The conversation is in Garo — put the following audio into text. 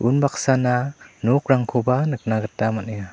unbaksana nokrangkoba nikna gita man·enga.